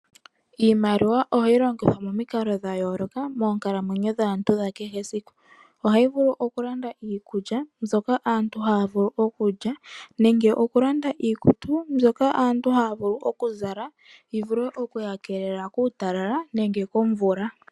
Iimaliwa ohayi logithwa momikalo dha yooloka moonkalamwenyo dhantu dha kehe esiku. Ohayi vulu oku landa iikulya mbyoka aantu ha ya li, nenge iikutu opo aantu ya zale yoya wape oku ikeelela kuutalala nenge komvula.